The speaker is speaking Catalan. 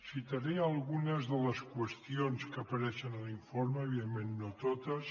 citaré algunes de les qüestions que apareixen a l’informe òbviament no totes